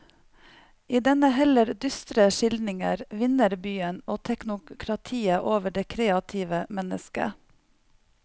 I denne heller dystre skildringen vinner byen og teknokratiet over det kreative mennesket.